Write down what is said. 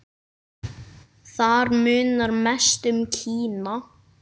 Þar munar mest um Kína.